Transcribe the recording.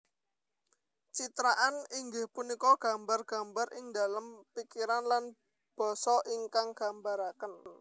Citraan inggih punika gambar gambar ingdalem pikiran lan basa ingkang gambaraken